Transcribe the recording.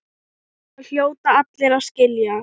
Það hljóta allir að skilja.